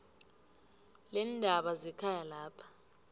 leendaba zekhaya lapho